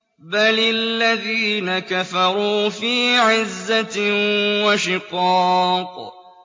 بَلِ الَّذِينَ كَفَرُوا فِي عِزَّةٍ وَشِقَاقٍ